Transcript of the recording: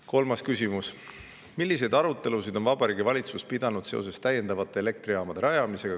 Kolmas küsimus: "Milliseid arutelusid on Vabariigi Valitsus pidanud seoses täiendavate elektrijaamade rajamisega?